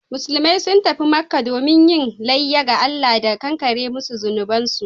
Musulmai sun tafi Makkah domin yin layya ga Allah da kankare musu zunubansu